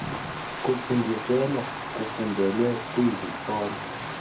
kufundiselwa kufundelwe kwizikolo